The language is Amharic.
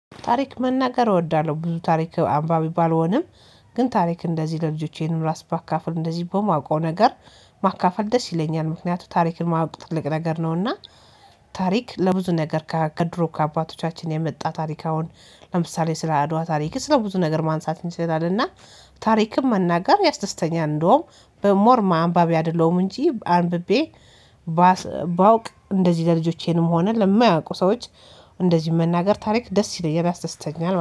ታሪክ መናገር እወዳለሁ ብዙ ታሪክ አንባቢ ባልሆንም ግን ታሪክ እንደዚህ ለልጆቼ ራሴ ባካፈል እንደዚህ በማውቀው ነገር ማካፈል ደስ ይለኛል ምክንያቱም ታሪክን ማወቅ ትልቅ ነገር ነውና። ታሪክ ለብዙ ነገር ከድሮ ከአባቶቻችን የመጣ ታሪክ አሁን ለምሳሌ ስለአድዋ ታሪክ ስለ ብዙ ነገር ማንሳት እንችላለን እና ታሪክም መናገር ያስደስተኛል። እንደውም ሞር አንባቢ አይደለሁም እንጂ አንብቤ ባውቅ እንደዚህ ለልጆቼንም ሆነ ለማያውቁ ሰዎች እንደዚህ መናገር ታሪክ ደስ ይለኛል ያስደስተኛል